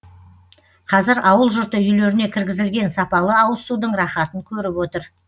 қазір ауыл жұрты үйлеріне кіргізілген сапалы ауызсудың рахатын көріп отыр